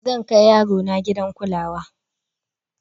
zan Kai yarona gidan kulawa